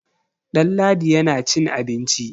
Ɗanladi yana cin abinci.